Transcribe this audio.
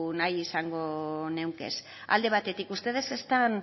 nahi izango nituzke alde batetik ustedes están